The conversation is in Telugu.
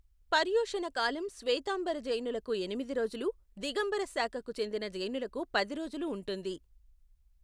పర్యుషణ కాలం శ్వేతాంబర జైనులకు ఎనిమిది రోజులు, దిగంబర శాఖకు చెందిన జైనులకు పది రోజులు ఉంటుంది.